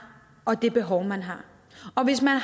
og det behov man har og hvis man